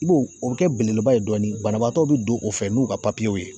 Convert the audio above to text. I b'o o be kɛ belebeleba ye dɔɔnin banabaatɔw be don o fɛ n'u ka papiyew ye